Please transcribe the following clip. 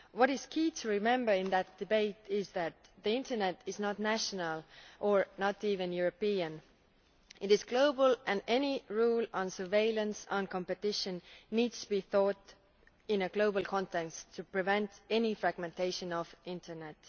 What it is key to remember in that debate is that the internet is not national, or even European it is global, and any rule on surveillance, on competition, needs to be thought about in a global context to prevent any fragmentation of the internet.